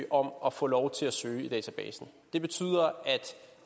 om at få lov til at søge i databasen det betyder at